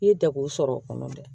I ye degu sɔrɔ o kɔnɔ dɛ